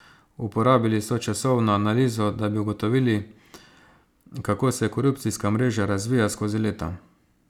Uporabili so časovno analizo, da bi ugotovili, kako se korupcijska mreža razvija skozi leta.